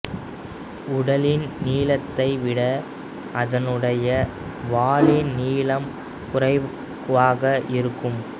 உடலின் நீளத்தை விட அதனுடைய வாலின் நீளம் குறைவாக இருக்கும்